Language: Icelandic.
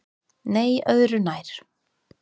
Nei öðru nær.